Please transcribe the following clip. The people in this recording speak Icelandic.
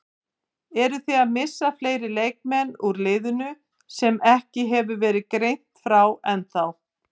Eruð þið að missa fleiri leikmenn úr liðinu sem ekki hefur verið greint frá ennþá?